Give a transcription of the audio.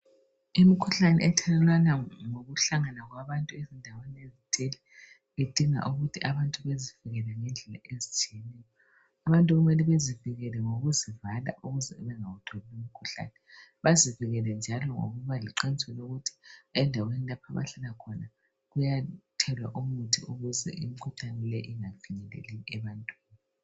Imikhuhlane ethelelwana ngokuhlangana kwabantu ezindaweni ezithile idinga ukuthi abantu bezivikele ngendlela ezithile abantu kumele bezivikele ngokuzivala ukuze bengawutholi umkhuhlane bazivikele njalo ngokuba leqiniso ukuthi endaweni lapho abahlala khona kuyathelwa umuthi ukuze imkhuhlane le ingafinyeleli ebantwini